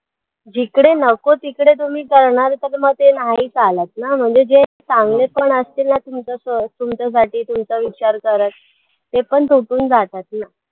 जिकडे नको तिकडे तुम्ही करणार तर मग ते नाही चालतं ना म्हणजे जे चांगले पण असतील ना तुमचे सो तुमच्यासाठी तुमचा विचार करतं ते पण तुटून जातात ना